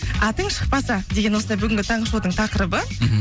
атың шықпаса деген осындай бүгінгі таңғы шоудың тақырыбы мхм